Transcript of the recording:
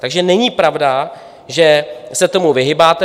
Takže není pravda, že se tomu vyhýbáte.